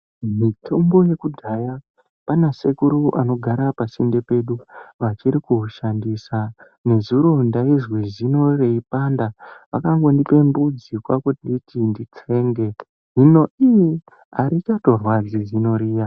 Mitombo yekudhaya pana sekuru anogara pasinde pedu vachiri kuushandisa. Nezuro ndaizwe zino reipanda vakango ndipa mudzi kwakunditi nditsenge zvino iii harichatorwadzi zino riya.